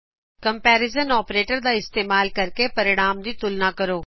comparison operators ਦਾ ਇਸਤਮਾਲ ਕਰ ਕੇ ਹੱਲ ਦੀ ਤੁਲਨਾ ਕਰੋ